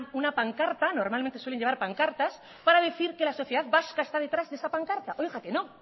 una pancarta normalmente suelen llevar pancartas para decir que la sociedad vasca está detrás de esa pancarta oiga que no